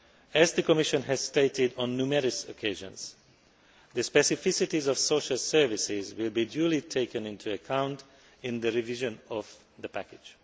As the Commission has stated on numerous occasions, the specificities of social services will be duly taken into account in the revision of the package.